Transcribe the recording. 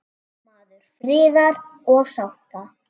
Maður friðar og sátta.